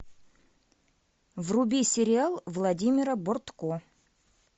вруби сериал владимира бортко